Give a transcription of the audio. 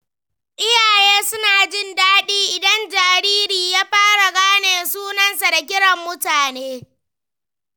Iyaye suna jin daɗi idan jariri ya fara gane sunansa da kiran mutane.